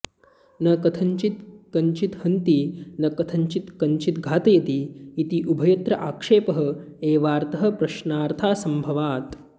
न कथञ्चित् कञ्चित् हन्ति न कथञ्चित् कञ्चित् घातयति इति उभयत्र आक्षेप एवार्थः प्रश्नार्थासंभवात्